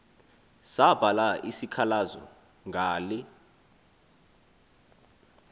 sabhala isikhalazo ngale